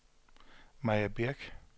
Maja Birch